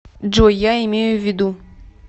джой я имею в виду